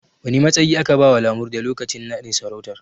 Wane matsayi aka bawa Lamurde lokacin naɗin sarautar?